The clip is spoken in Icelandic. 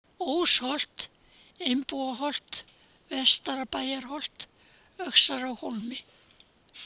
Ósholt, Einbúaholt, Vestra-Bæjarholt, Öxarárhólmi